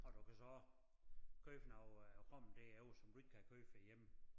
Og du kan så også købe noget øh rom derovre som du ikke kan købe herhjemme